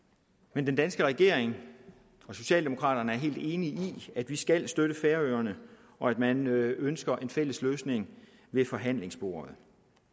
men den danske regering og socialdemokraterne er helt enige i at vi skal støtte færøerne og at man ønsker en fælles løsning ved forhandlingsbordet